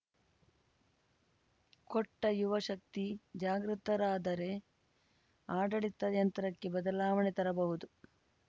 ಕೋಟ್ಟ ಯುವ ಶಕ್ತಿ ಜಾಗೃತರಾದರೆ ಆಡಳಿತ ಯಂತ್ರಕ್ಕೆ ಬದಲಾವಣೆ ತರಬಹುದು